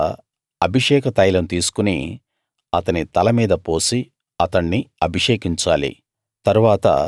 తరువాత అభిషేక తైలం తీసుకుని అతని తల మీద పోసి అతణ్ణి అభిషేకించాలి